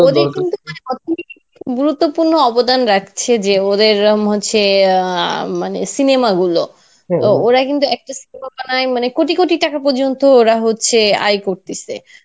ওদের কিন্তু গুরুত্যপুর্ন্য অবদান রাখছে যে ওদের এরম হচ্ছে আহ ম~ মানে cinema গুলো তো ওরা কিন্তু একটা cinema বানায় মানে কোটি কোটি টাকা পর্যন্ত ওরা হচ্ছে আয় করতেসে.